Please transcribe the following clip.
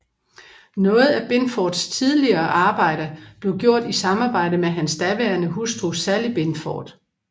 Noget af Binfords tidligere arbejde blev gjort i samarbejde med hans daværende hustru Sally Binford